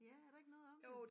Ja er der ikke noget om det